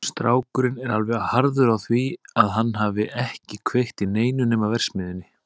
Strákurinn er alveg harður á því að hann hafi ekki kveikt í neinu nema verksmiðjunni.